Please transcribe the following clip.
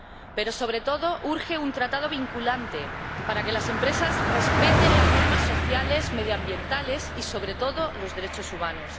Pero, sobre todo, urge un tratado vinculante para que las empresas respeten las normas sociales y medioambientales y, sobre todo, los derechos humanos.